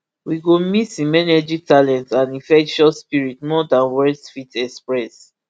we go miss im energy talent and infectious spirit more dan words fit express